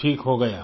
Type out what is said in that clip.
कि ठीक हो गया